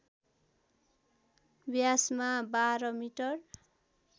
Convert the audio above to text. व्यासमा १२ metre